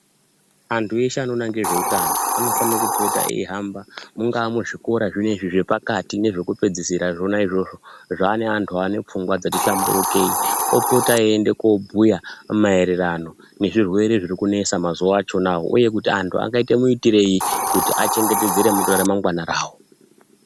Antu eshe anoona ngezveutano anofana kupota eihamba mungaa muzvikora zvinezvi zvepakati nezvekupedzisira zvona izvozvo. Zvaane antu ane pfungwa dzati hlamburikei opota eienda kobhuya maererano nezvirwere zviri kunesa mazuwa achona wo. Uye kuti antu angaite muitirei kuti achengetedze ramangwana rawo.